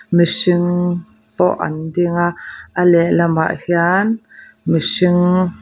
mihring pawh an ding a a lehlamah hian mihring.